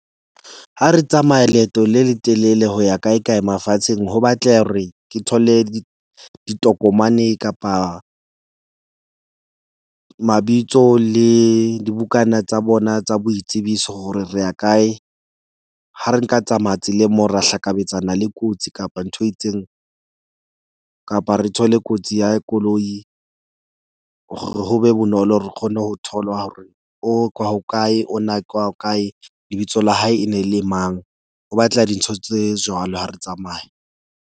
Ha re tsamaya leeto le letelele ho ya kae kae mafatsheng. Ho batleha hore ke thole ditokomane kapa mabitso le dibukana tsa bona tsa boitsebiso. Hore re ya kae ha re nka tsamaya tseleng moo ra hlakabetsana le kotsi, kapa ntho e itseng kapa re thole kotsi ya koloi ho be bonolo hore re kgone ho tholwa hore o ke wa hokae, ona ke wa ho kae. Lebitso la hae e ne le mang, ho batla dintho tse jwalo ha re tsamaya.